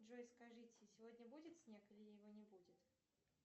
джой скажите сегодня будет снег или его не будет